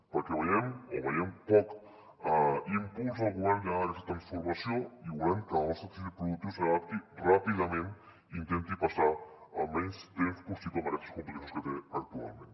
perquè veiem poc impuls del govern en aquesta transformació i volem que el nostre teixit productiu s’adapti ràpidament i intenti passar el menys temps possible amb aquestes complicacions que té actualment